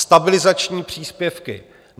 Stabilizační příspěvky.